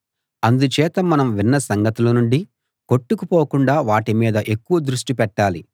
అందుచేత మనం విన్న సంగతుల నుండి కొట్టుకుని పోకుండా వాటి మీద ఎక్కువ దృష్టి పెట్టాలి